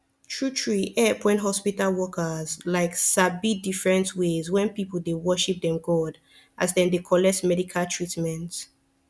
tru tru e epp wen hospita workers like sabi different ways wen pipu dey worship dem god as dem de collect medica treatment